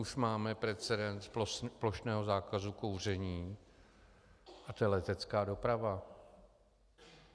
Už máme precedens plošného zákazu kouření a to je letecká doprava.